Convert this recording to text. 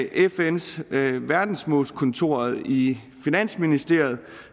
fns verdensmålskontor i finansministeriet og